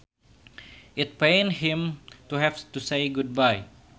It pains him to have to say goodbye